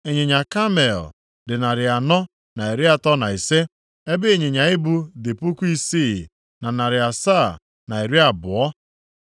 ịnyịnya kamel dị narị anọ na iri atọ na ise (435), ebe ịnyịnya ibu dị puku isii, na narị asaa na iri abụọ (6,720).